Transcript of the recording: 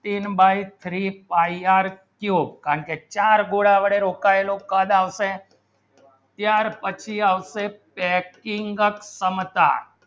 તિન by three pie r cube અને ચાર ગુના બર્બર રોખાયલો કદ આવશે ચાર પછી આવશે packing ક્ષમતા